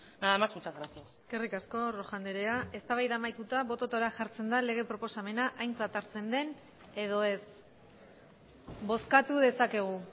nada más muchas gracias eskerrik asko rojo andrea eztabaida amaituta bototara jartzen da lege proposamena aintzat hartzen den edo ez bozkatu dezakegu